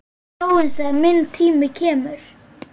Sjáumst þegar minn tími kemur.